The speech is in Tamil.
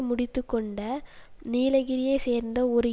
முடித்து கொண்ட நீலகிரியை சேர்ந்த ஒரு